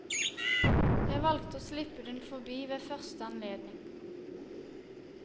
Jeg valgte å slippe den forbi ved første anledning.